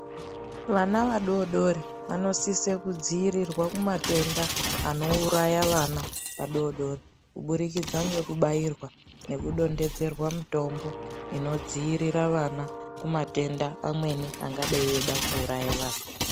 Vana vadodori, vanosise kudziyirirwa kumatenda, anowuraya vana vadodori, kubudikidza ngekubayirwa, nekudondedzerwa mitombo inodziyirira vana, kumatenda amweni angadayi eyida kuwuraya vana.